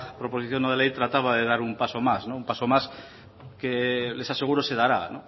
proposición no de ley trataba de dar un paso más un paso más les aseguro se dará